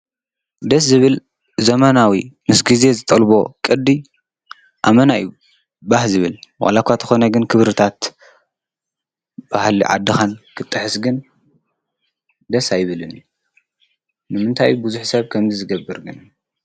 ብዝብል ዘመናዊ ምስ ግዜ ዝጠልቦ ቅዲ ኣመና እዩ ባህ ዝብል ዋላ እኳ እንተኾነ ግን ክብርታት ባህሊ ዓድኻ ንኽትጥሕስ ግን ደስ ኣይብልንእዩ። ንምንታይ እዩ ቡዙሕ ሰብ ከምዚ ዝገብር ግን?